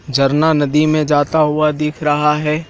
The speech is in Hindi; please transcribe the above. झरना नदी में जाता हुआ दिख रहा है।